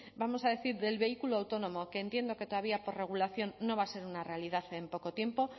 vamos a decir del vehículo autónomo que entiendo que todavía por regulación no va a ser una realidad en poco tiempo